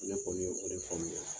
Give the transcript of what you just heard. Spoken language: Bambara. Ne kɔni ye o de famuya